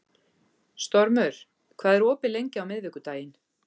Stormur, hvað er opið lengi á miðvikudaginn?